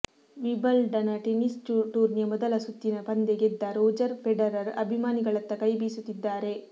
Wimbledon tennis ಟೂರ್ನಿಯ ಮೊದಲ ಸುತ್ತಿನ ಪಂದ್ಯ ಗೆದ್ದ ರೋಜರ್ ಫೆಡರರ್ ಅಭಿಮಾನಿಗಳತ್ತ ಕೈ ಬೀಸುತ್ತಿದ್ದಾರೆ